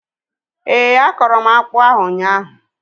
Éè, akọrọ m akpụ ahu ụnyaahụ